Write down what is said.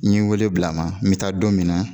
N ye wele bila a ma n bɛ taa don min na